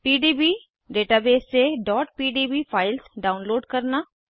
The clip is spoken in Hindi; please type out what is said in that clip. पीडीबी डेटाबेस से pdb फाइल्स डाउनलोड करना